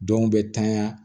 Dɔw bɛ tanya